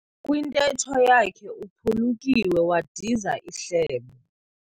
Kwintetho yakhe uphulukiwe wadiza ihlebo.